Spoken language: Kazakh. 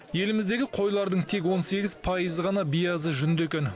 еліміздегі қойлардың тек он сегіз пайызы ғана биязы жүнді екен